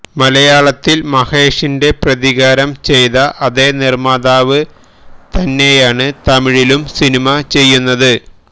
മലയാളത്തില് മഹേഷിന്റെ പ്രതികാരം ചെയ്ത അതേ നിര്മ്മാതാവ് തന്നെയാണ് തമിഴിലും സിനിമ ചെയ്യുന്നത്